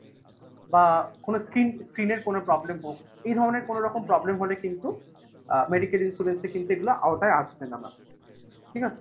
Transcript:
বা কোনো skin skin এর কোনো problem হোক এই ধরণের কোনোরকম problem হলে কিন্তু আ medical insurance কিন্তু এগুলোর আওতায় আসবে না mam , ঠিক আছে?